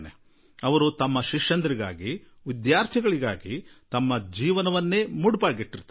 ಅವರು ತಮ್ಮ ಶಿಷ್ಯಕೋಟಿಗಾಗಿ ತಮ್ಮ ವಿದ್ಯಾರ್ಥಿಗಳಿಗಾಗಿ ತಮ್ಮ ಜೀವನವನ್ನೇ ಮುಡುಪಾಗಿ ಇಟ್ಟುಬಿಡುವರು